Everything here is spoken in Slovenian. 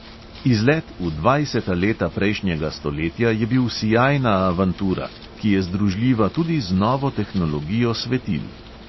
Izlet v dvajseta leta prejšnjega stoletja je bil sijajna avantura, ki je združljiva tudi z novo tehnologijo svetil.